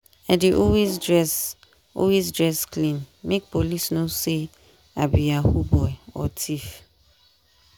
i dey always dress always dress clean make police no say i be yahoo boy or thief.